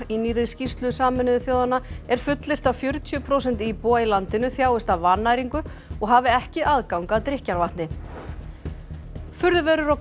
í nýrri skýrslu Sameinuðu þjóðanna er fullyrt að fjörutíu prósent íbúa í landinu þjáist af vannæringu og hafi ekki aðgang að drykkjarvatni furðuverur og